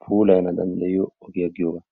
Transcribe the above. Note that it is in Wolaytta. puulayana danddayioo ogiyaa giyoogaa.